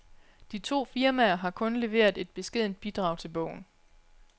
De to firmaer har kun leveret et beskedent bidrag til bogen.